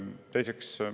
Teiseks.